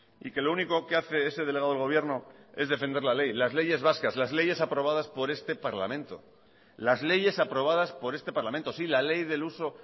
y que lo único que hace ese delegado del gobierno es defender la ley las leyes vascas las leyes aprobadas por este parlamento las leyes aprobadas por este parlamento sí la ley del uso